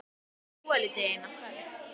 Verið svolítið einn á ferð?